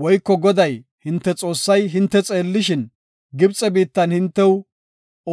Woyko Goday, hinte Xoossay hinte xeellishin, Gibxe biittan hintew